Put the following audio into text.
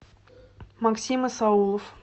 максим исаулов